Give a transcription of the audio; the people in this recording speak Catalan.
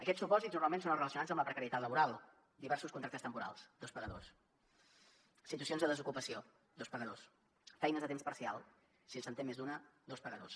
aquests supòsits normalment són els relacionats amb la precarietat laboral diversos contractes temporals dos pagadors situacions de desocupació dos pagadors feines a temps parcial si se’n té més d’una dos pagadors